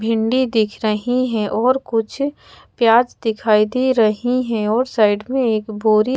भिंडी दिख रही हैं और कुछ प्याज दिखाई दे रही हैं और साइड में एक बोरी--